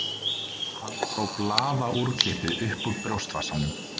Hann dró blaðaúrklippu upp úr brjóstvasanum